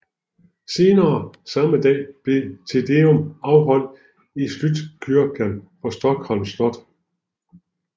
Senere samme dag blev Te Deum afholdt i Slottskyrkan på Stockholms Slot